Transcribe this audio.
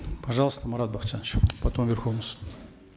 пожалуйста марат бакытжанович потом верховный суд